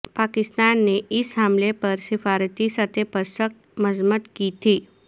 پاکستان نے اس حملے پر سفارتی سطح پر سخت مذمت کی تھی